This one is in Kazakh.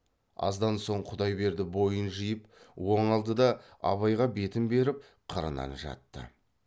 аздан соң құдайберді бойын жиып оңалды да абайға бетін беріп қырынан жатты